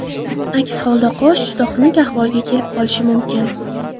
Aks holda qosh juda xunuk ahvolga kelib qolishi mumkin.